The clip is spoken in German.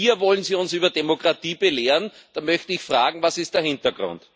Und hier wollen Sie uns über Demokratie belehren da möchte ich fragen Was ist da der Hintergrund?